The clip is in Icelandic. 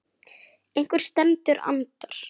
Einhver sem andar.